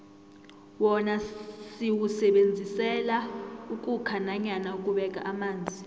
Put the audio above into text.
wona siwusebenzisela ukhukha nanyana ukubeka amanzi